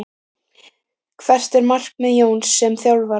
Hvert er markmið Jóns sem þjálfara?